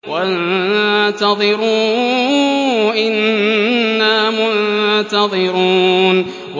وَانتَظِرُوا إِنَّا مُنتَظِرُونَ